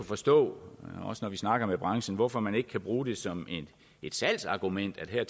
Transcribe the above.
forstå også når vi snakker med branchen hvorfor man ikke kan bruge det som et salgsargument at